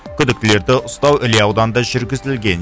күдіктілерді ұстау іле ауданында жүргізілген